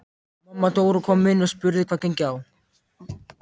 Mamma Dóra kom inn og spurði hvað gengi á.